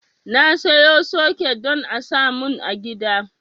Na sayo soket don a samun a gida